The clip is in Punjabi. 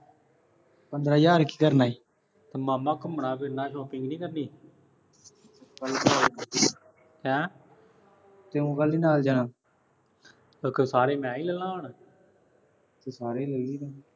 ਪੰਦਰਾਂ ਹਜ਼ਾਰ ਕੀ ਕਰਨੇ ਈ। ਓ ਮਾਮਾ ਘੁੰਮਣਾ, ਫਿਰਨਾ, shopping ਨੀ ਕਰਨੀ। ਹੈਂ। ਤੂੰ ਨਾਲ ਜਾਣਾ। ਸਾਰੇ ਮੈਂ ਹੀ ਲੈ ਲਾਂ ਹੁਣ। ਤੂੰ ਸਾਰੇ ਲੈ ਲੀਂ ਤੂੰ।